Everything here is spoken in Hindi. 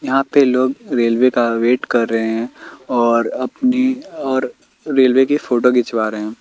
यहां पर लोग रेलवे का वेट कर रहे हैं और अपनी और रेलवे की फोटो घिचवा रहे--